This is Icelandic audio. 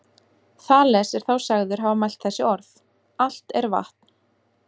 Þales er þá sagður hafa mælt þessi orð: Allt er vatn